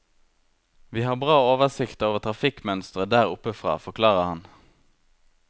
Vi har bra oversikt over trafikkmønsteret der oppe fra, forklarer han.